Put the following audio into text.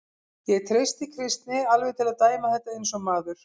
Ég treysti Kristni alveg til að dæma þetta eins og maður.